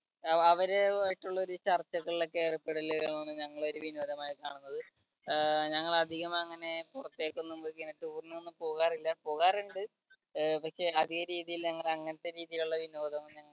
അവ അവരുവായിട്ടുള്ള ഒരു ചർച്ചകളിൽ ഒക്കെ ഏർപ്പെടൽ ഒക്കെ ഞങ്ങൾ ഒരു വിനോദമായി കാണുന്നത്. ഞങ്ങൾ അധികം അങ്ങനെ പുറത്തേക്ക് അങ്ങനെ tour ഒന്നും പോകാറില്ല പോകാറുണ്ട് പക്ഷേ അധികരീതിയിൽ ഞങ്ങൾ അങ്ങനത്തെ രീതിയിലുള്ള വിനോദം ഒന്നും